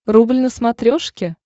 рубль на смотрешке